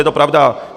Je to pravda!